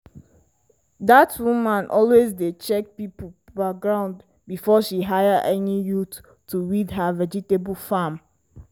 dat woman always dey check people background before she hire any youth to weed her vegetable farm.